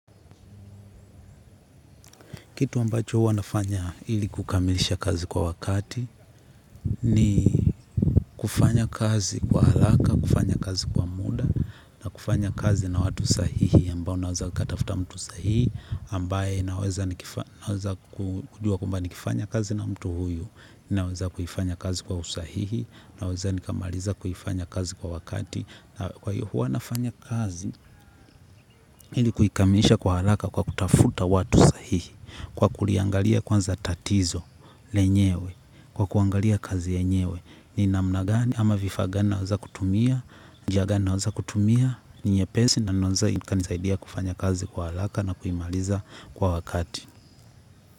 Kitu ambacho huwa nafanya ili kukamilisha kazi kwa wakati ni kufanya kazi kwa haraka, kufanya kazi kwa muda na kufanya kazi na watu sahihi ambao naweza katafta mtu sahihi ambaye naweza kujua kwamba nikifanya kazi na mtu huyu naweza kuifanya kazi kwa usahihi naweza nikamaliza kuifanya kazi kwa wakati. Na kwa hiyo huwa nafanya kazi, ili kuikamilisha kwa haraka kwa kutafuta watu sahihi. Kwa kuliangalia kwanza tatizo, lenyewe, kwa kuangalia kazi enyewe ni namna gani, ama vifaa gani naweza kutumia, njia gani naweza kutumia. Ni nyepesi, na naweza ikanisaidia kufanya kazi kwa haraka na kuimaliza kwa wakati.